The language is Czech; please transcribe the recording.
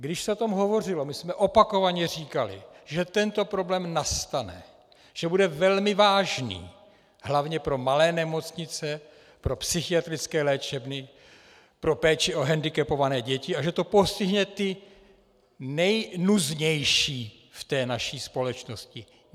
Když se o tom hovořilo, my jsme opakovaně říkali, že tento problém nastane, že bude velmi vážný hlavně pro malé nemocnice, pro psychiatrické léčebny, pro péči o hendikepované děti a že to postihne ty nejnuznější v té naší společnosti.